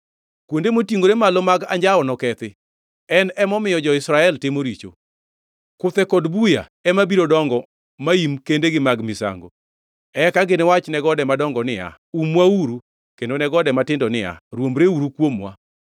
Kuonde motingʼore malo mag anjawo nokethi, en emomiyo jo-Israel timo richo. Kuthe kod buya ema biro dongo maim kendegi mag misango. Eka giniwach ne gode madongo niya, “Umwauru!” Kendo ne gode matindo niya, “Rwombreuru kuomwa!”